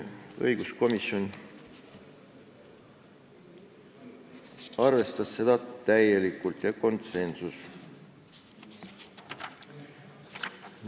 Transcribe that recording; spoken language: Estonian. Õiguskomisjon arvestas seda täielikult ehk jõudis konsensusele.